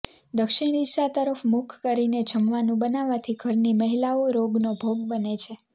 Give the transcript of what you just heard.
દક્ષિણ દિશા તરફ મુખ કરીને જમવાનું બનાવાથી ઘરની મહિલાઓ રોગનો ભોગ બને છે